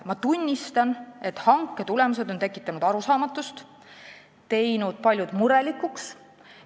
Ma tunnistan, et hanke tulemused on tekitanud arusaamatust ja paljud murelikuks teinud.